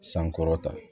Sankɔrɔta